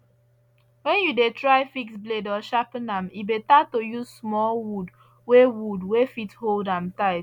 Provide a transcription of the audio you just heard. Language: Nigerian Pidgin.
when you dey try fix blade or sharpen am e better to use small wood wey wood wey fit hold am tight